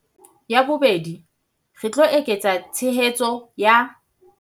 Ya bobedi, re tlo eketsa tshehetso ya